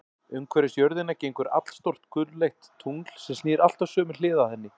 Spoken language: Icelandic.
Umhverfis jörðina gengur allstórt gulleitt tungl, sem snýr alltaf sömu hlið að henni.